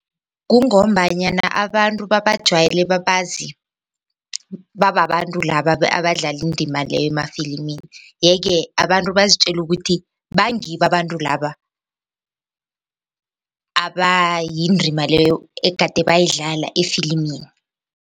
Kungombanyana abantu babajwayele babazi bababantu laba abadlalindima leyo emafilimini yeke abantu bazitjela ukuthi bangibo abantu laba abayindima leyo egade bayidlala efilimini.